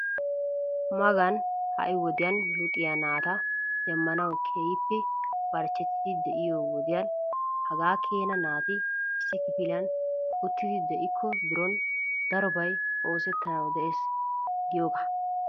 Magani ha'i wodiyaa luxiyaa naata demmanawu keehippe barchchetiidi de'iyoo wodiyaan hagaa keena naati issi kifiliyaan uttidi de'iko bironi darobay oosettanawu de'ees giyoogaa.